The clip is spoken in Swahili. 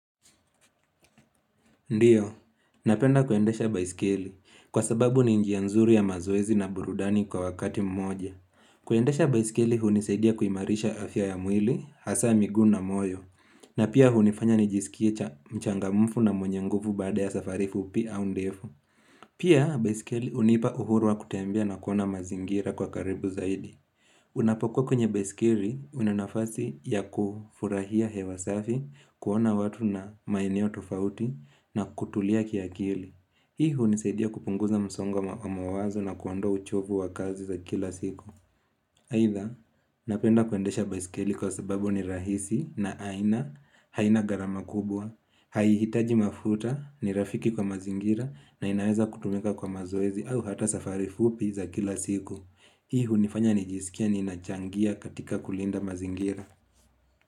Ndiyo, napenda kuendesha baisikili kwa sababu ni njianzuri ya mazoezi na burudani kwa wakati mmoja. Kuendesha baisikili huniseidia kuimarisha afya ya mwili, hasa migu na moyo, na pia hunifanya nijisikie cha mchangamufu na mwenye nguvu bada ya safari fupi au ndefu. Pia baisikili unipa uhuru wa kutembea na kuona mazingira kwa karibu zaidi. Unapoko kwenye besikiri unanafasi ya kufurahia hewasafi kuona watu na maeneo tofauti na kutulia kia kili. Hii huniseidia kupunguza msongwa wa mawazo na kuandoa uchovu wa kazi za kila siku. Eidha napenda kwendesha baiskeli kwa sababu ni rahisi na aina haina garama kubwa. Hai hitaji mafuta ni rafiki kwa mazingira na inaweza kutumika kwa mazoezi au hata safari fupi za kila siku. Hii hunifanya nijisikia ninachangia katika kulinda mazingira.